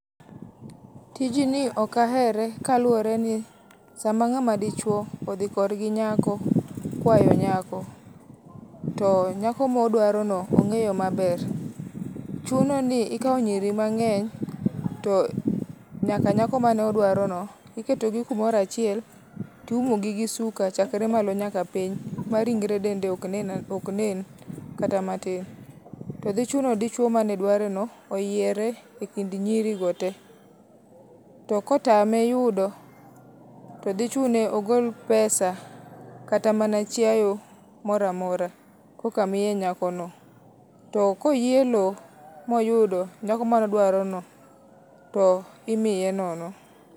Tijni ok ahere kaluwore ni sama ng'ama dichuo odhi kor gi nyako kwayo nyako, to nyako ma odwarono ong'eyo maber. Chuno ni ikawo nyiri mang'eny, nyaka nyako mane odwarono, iketogi kumoro achiel to iumogi gi suka chakre malo nyaka piny, ma ringre dende ok nen kata matin. To dhi chuno dichuo mane dwareno oyiere ekind nyirigo te. To kotame yudo to dhi chune ni ogol pesa kata mana chiaye moro amora koka miye nyakono. To ka oelo moyudo nyako mane odwarono to miye nono.